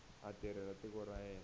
a tirhela tiko ra yena